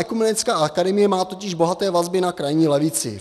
Ekumenická akademie má totiž bohaté vazby na krajní levici.